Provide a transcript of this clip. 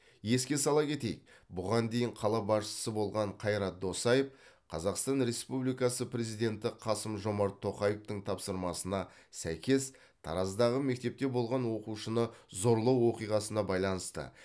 еске сала кетейік бұған дейін қала басшысы болған қайрат досаев қазақстан республикасы президенті қасым жомарт тоқаевтың тапсырмасына сәйкес тараздағы мектепте болған оқушыны зорлау оқиғасына байланысты